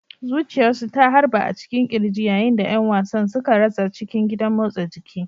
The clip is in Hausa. Zuciyarsu ta harba a cikin ƙirji yayin da ƴan wasan suka ratsa cikin gidan motsa jiki.